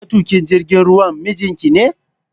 matukin jigin ruwan mijinkine?